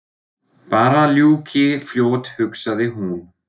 Bara að þessu ljúki fljótt hugsaði hún.